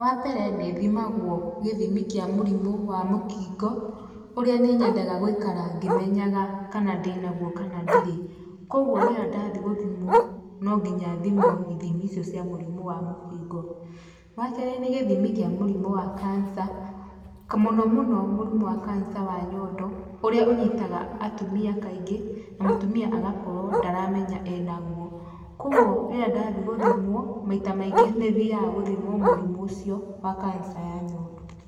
Wa mbere nĩthimagwo gĩthimi kĩa mũrimu wa mũkingo, ũrĩa nĩ nyendaga gũikara ngĩmenyaga kana ndĩ naguo kana ndirĩ. Kwoguo rĩrĩa ndathiĩ gũthimwo, no nginya thimwo ithimi icio cia mũrimũ wa mũkingo. Wa keerĩ nĩ gĩthimi kĩa mũrimũ wa cancer , mũno muno mũrimũ wa cancer ya nyondo ũrĩa ũnyitaga atumia kaingĩ, na mũtumia agakorwo ndaramenya e naguo. Kwoguo rĩrĩa ndathiĩ gũthimwo, maita maingĩ nĩ thiaga gũthimwo mũrimũ ũcio wa cancer ya nyondo.